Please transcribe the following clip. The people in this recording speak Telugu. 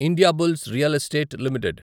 Indiabulls real estate limited